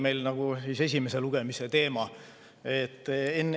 See oli nagu esimese lugemise teema.